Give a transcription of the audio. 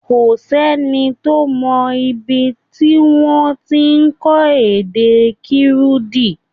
Kò s’ẹ́ni tó mọ ibi tí wọ́n ti ń kọ́ èdè Kirundi.